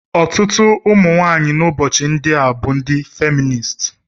Ọtụtụ ụmụ nwanyị n'ụbọchị ndị a bụ ndị feminist.